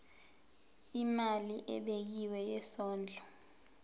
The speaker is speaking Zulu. imali ebekiwe yesondlo